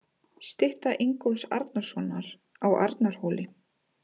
Stytta Ingólfs Arnarsonar á Arnarhóli.